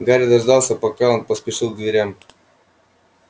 гарри дождался пока он поспешил к дверям